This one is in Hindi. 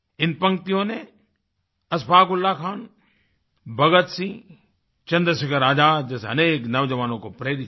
इन पंक्तियों ने अशफाक़ उल्लाह खान भगत सिंह चंद्रशेखर आज़ाद जैसे अनेक नौज़वानों को प्रेरित किया